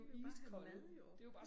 De vil bare have mad jo